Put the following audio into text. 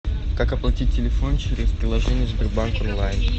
как оплатить телефон через приложение сбербанк онлайн